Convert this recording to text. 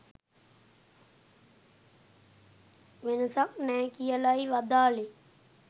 වෙනසක් නෑ කියලයි වදාළේ